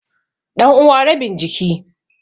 Ɗanuwa rabin jiki.